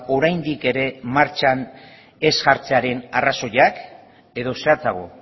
oraindik ere martxan ez jartzearen arrazoiak edo zehatzago